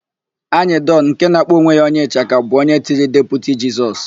Anyịdọn, nke na-akpọ onwe ya onye ịchaka bụ onye tiri Deputi Jisọs.